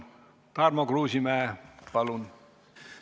Tarmo Kruusimäe, palun!